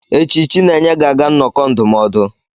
Echi, Chinenye ga-aga nnọkọ ndụmọdụ.